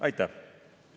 Aitäh!